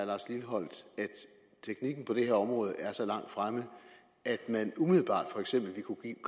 teknikken på det her område er så langt fremme at man umiddelbart for eksempel ville kunne give